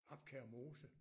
Abkær Mose